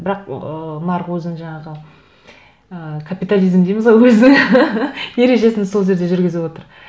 бірақ ыыы нарық өзін жаңағы ыыы капитализм дейміз ғой өзі ережесін сол жерде жүргізіп отыр